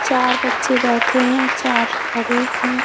चार बच्चे बैठे हैं चार खड़े हैं।